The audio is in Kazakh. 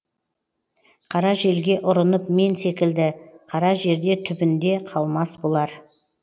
қара желге ұрынып мен секілді қара жерде түбінде қалмас бұлар